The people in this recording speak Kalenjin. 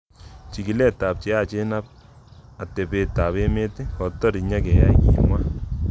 Chigulet ab cheyachen ab atepey ab emet kotor nyigeyae, kimwa.